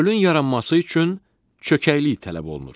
Gölün yaranması üçün çökəklik tələb olunur.